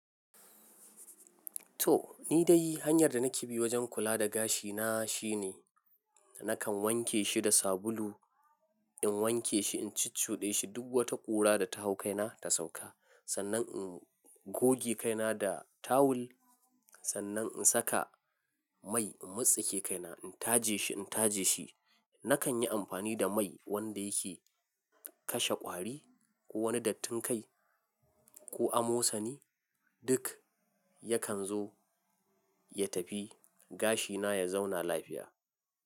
To, ni dai hanyar da nake bi wajen kula da gashina shine nakan wanke shi da sabulu. In wanke shi, in cicoɗe shi duk wata ƙura da ta hau kaina ta sauka. Sannan in goge kaina da tawul. Sannan in saka mai in motsa ke kaina, in taje shi, in taje shi. Nakan yi amfani da mai wanda yake kashe ƙwari ko wani dattin kai ko amosani duk yakan zo ya tafi. Gashina ya zauna lafiya.